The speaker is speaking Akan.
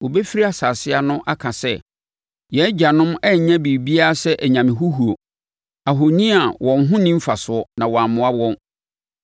wɔbɛfiri nsase ano aka sɛ, “Yɛn agyanom annya biribiara sɛ anyame huhuo, ahoni a wɔn ho nni mfasoɔ na wɔammoa wɔn.